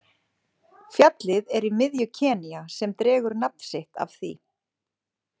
Fjallið er í miðju Kenýa sem dregur nafn sitt af því.